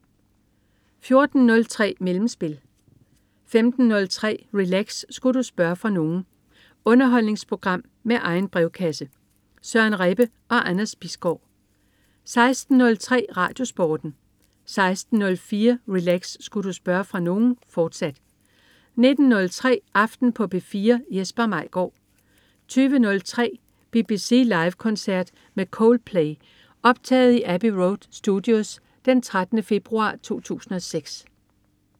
14.03 Mellemspil 15.03 Relax. Sku' du spørge fra nogen? Underholdningsprogram med egen brevkasse. Søren Rebbe og Anders Bisgaard 16.03 RadioSporten 16.04 Relax. Sku' du spørge fra nogen?, fortsat 19.05 Aften på P4. Jesper Maigaard 20.03 BBC Live koncert med Coldplay. Optaget i Abbey Road Studios den 13. februar 2006